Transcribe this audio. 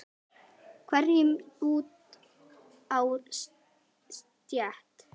hverjum út á stétt.